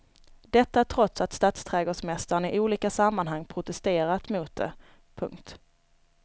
Detta trots att stadsträdgårdsmästaren i olika sammanhang protesterat mot det. punkt